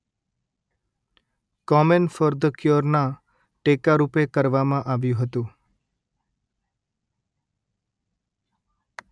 કોમેન for the ક્યોરના ટેકા રૂપે કરવામાં આવ્યું હતું